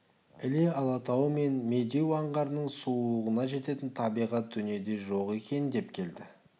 іле алатауы мен медеу аңғарының сұлулығына жететін табиғат дүниеде жоқ екен деп келді